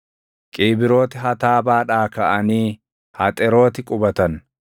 Qiibrooti Hataabaadhaa kaʼanii Haxerooti qubatan.